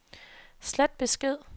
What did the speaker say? slet besked